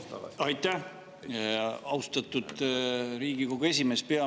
Aitäh, austatud Riigikogu esimees!